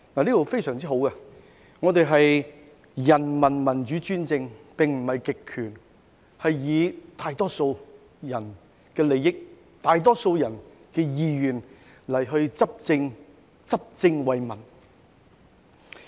"這是非常好的條文，訂明我們是人民民主專政而不是極權，是以大多數人的利益及意願來執政，執政為民。